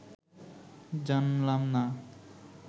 জানলাম না